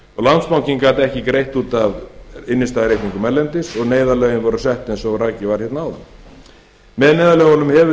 landsbankinn gat ekki greitt út af innstæðureikningum erlendis og neyðarlögin voru sett eins og rakið var hérna áðan með neyðarlögunum hefur